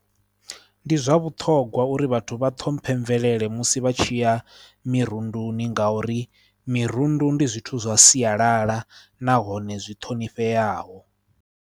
Ndi zwa vhuṱhogwa uri vhathu vha ṱhomphe mvelele musi vha tshi ya mirunduni ngauri mirundu ndi zwithu zwa sialala nahone zwi ṱhonifheaho.